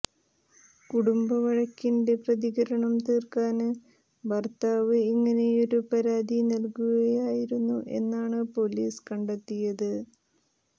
കുടുംബവഴക്കിന്റെ പ്രതികാരം തീര്ക്കാന് ഭര്ത്താവ് ഇങ്ങനെയൊരു പരാതി നല്കുകയായിരുന്നു എന്നാണ് പോലീസ് കണ്ടെത്തിയത്